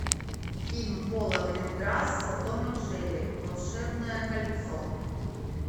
фильм пола гринграсса том и джерри волшебное кольцо